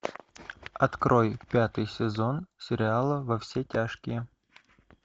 открой пятый сезон сериала во все тяжкие